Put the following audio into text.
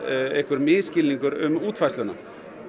einhver misskilningur um útfærsluna